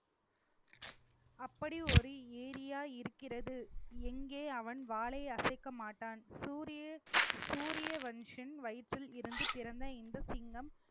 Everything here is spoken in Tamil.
அப்படி ஒரு area இருக்கிறது எங்க அவன் வாளை அசைக்க மாட்டான் சூரிய~ சூரியவன்ஷன் வயிற்றில் இருந்து பிறந்த இந்த சிங்கம்